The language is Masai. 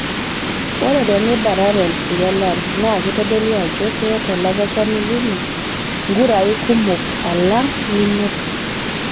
Ore tinibatata egelare naa kitodolu ajo keeta olakeshani lino nkurai kumok alang' ninoto